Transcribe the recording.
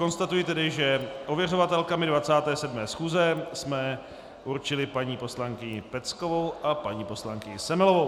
Konstatuji tedy, že ověřovatelkami 27. schůze jsme určili paní poslankyni Peckovou a paní poslankyni Semelovou.